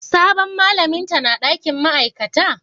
Sabon malamin ta na dakin ma'aikata?